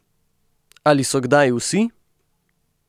Ali so kdaj vsi?